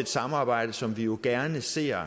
et samarbejde som vi jo gerne ser